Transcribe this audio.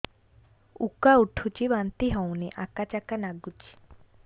ଉକା ଉଠୁଚି ବାନ୍ତି ହଉନି ଆକାଚାକା ନାଗୁଚି